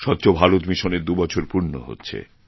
স্বচ্ছ ভারত মিশনের দুবছর পূর্ণ হচ্ছে